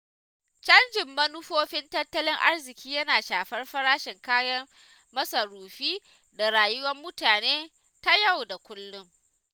Canjin manufofin tattalin arziƙi yana shafar farashin kayan masarufi da rayuwar mutane ta yau da kullum.